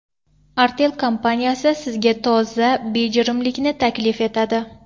Artel kompaniyasi sizga toza bejirimlikni taklif etadi.